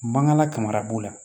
Mangan lakara b'o la